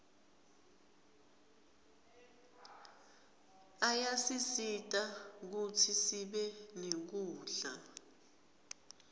ayasisita kutsi sibe nekudla